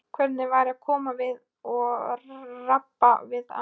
Hvernig væri að koma við og rabba við hana?